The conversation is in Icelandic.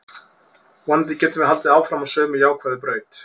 Vonandi getum við haldið áfram á sömu jákvæðu braut.